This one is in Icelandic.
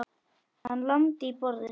Hann lamdi í borðið.